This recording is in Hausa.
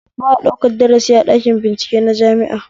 Ba a ɗaukan darasi a ɗakin bincike na jami'a